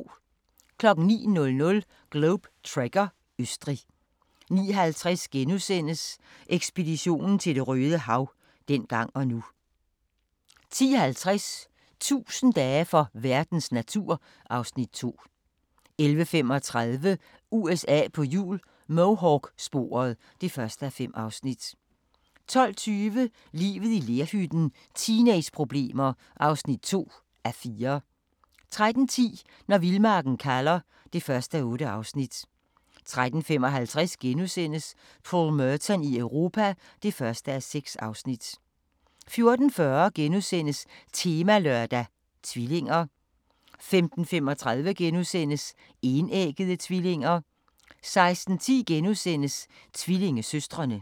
09:00: Globe Trekker – Østrig 09:50: Ekspedition til Det røde Hav – dengang og nu * 10:50: 1000 dage for verdens natur (Afs. 2) 11:35: USA på hjul - Mohawk-sporet (1:5) 12:20: Livet i lerhytten – teenageproblemer (2:4) 13:10: Når vildmarken kalder (1:8) 13:55: Paul Merton i Europa (1:6)* 14:40: Temalørdag: Tvillinger * 15:35: Enæggede tvillinger * 16:10: Tvillingesøstrene *